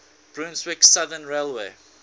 brunswick southern railway